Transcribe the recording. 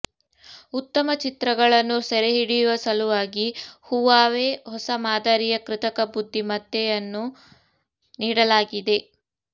ಉತ್ತಮ ಚಿತ್ರಗಳನ್ನು ಸೆರೆಹಿಡಿಯುವ ಸಲುವಾಗಿ ಹುವಾವೆ ಹೊಸ ಮಾದರಿಯ ಕೃತಕ ಬುದ್ಧಿ ಮತ್ತೆಯನ್ನು ನೀಡಲಾಗಿದೆ